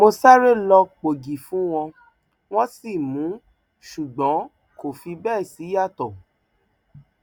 mo sáré lọọ pọ ògì fún wọn wọn sì mú un ṣùgbọn kò fi bẹẹ ṣíyàtọ